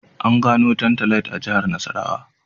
An gano Tantalite a Jihar Nasarawa